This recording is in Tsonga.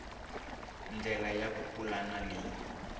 ndlela ya ku pulana leyi